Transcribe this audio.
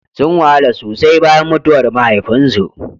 Sun wahala sosai bayan mutuwar mahaifinsu.